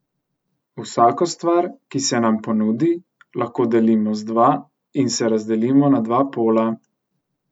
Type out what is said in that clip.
Vsako stvar, ki se nam ponudi, lahko delimo z dva in se razdelimo na dva pola.